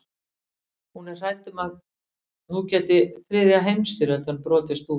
Hún er hrædd um að nú geti þriðja heimstyrjöldin brotist út.